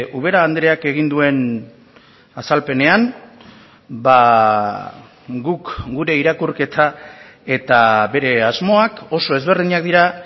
ubera andreak egin duen azalpenean guk gure irakurketa eta bere asmoak oso ezberdinak dira